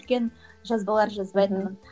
үлкен жазбалар жазбайтынмын